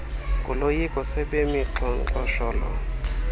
ngoloyiko sebemi xhonxosholo